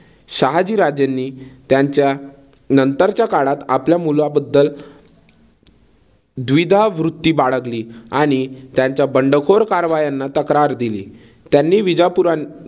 शहाजी राजेंनी त्यांच्या नंतरच्या काळात आपल्या मुलाबद्दल द्विधावृत्ती बाळगली आणि त्यांच्या बंडखोर कारवायांना तक्रार दिली. त्यांनी विजापुर